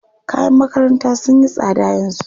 Kayan makaranta sun yi tsada yanzu.